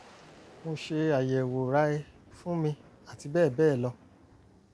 mo ṣe àyẹwò rai fún mi àti bẹ́ẹ̀ bẹ́ẹ̀ lọ